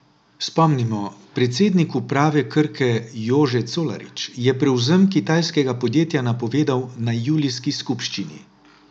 Spomnimo, predsednik uprave Krke Jože Colarič je prevzem kitajskega podjetja napovedal na julijski skupščini.